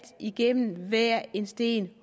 igennem at hver en sten